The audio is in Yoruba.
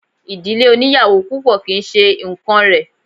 Ìdílé oníyàwò púpọ̀ kì í ṣe nǹkán rẹ̀.